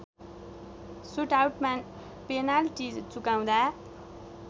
सुटआउटमा penalty चुकाउँदा